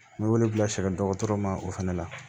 N bɛ wele bila sɛgɛn dɔgɔtɔrɔ ma o fana la